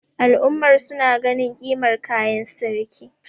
al'ummar suna ganin kimar kayan sarki